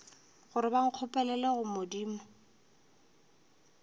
gore ba nkgopelele go modimo